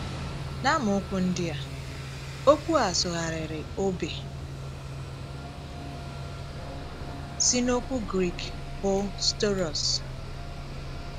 N’àmàokwu ndị a, okwu a sụgharịrị “ òbè ” si n’okwu Grik bụ́ staurosʹ.